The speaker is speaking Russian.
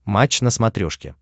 матч на смотрешке